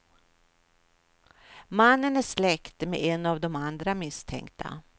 Mannen är släkt med en av de andra misstänkta.